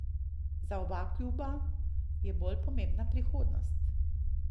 Za oba kluba je bolj pomembna prihodnost.